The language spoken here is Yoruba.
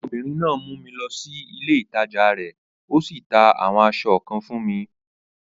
Ọmọbìnrin náà mú mi lọ sí ilé ìtajà rẹ̀, o sì ta àwọn aṣọ kan fún mi.